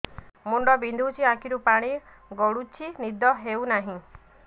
ମୁଣ୍ଡ ବିନ୍ଧୁଛି ଆଖିରୁ ପାଣି ଗଡୁଛି ନିଦ ହେଉନାହିଁ